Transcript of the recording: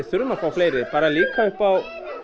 fleiri bara líka upp á